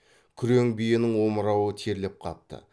күрең биенің омырауы терлеп қапты